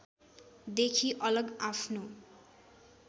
देखि अलग आफ्नो